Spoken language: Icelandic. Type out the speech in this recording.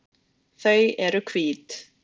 Þau eru hvít.